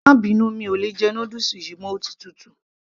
má bínú, mi ò lè jẹ noodles yìí mọ́, ó ti tutù